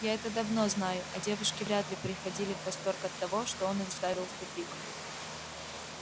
я это давно знаю а девушки вряд ли приходили в восторг от того что он их ставил в тупик